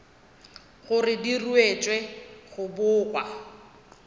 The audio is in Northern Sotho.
gore di ruetšwe go bogwa